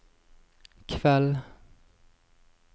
kveld